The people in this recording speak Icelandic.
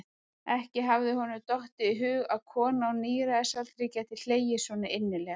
Ekki hafði honum dottið í hug að kona á níræðisaldri gæti hlegið svo innilega.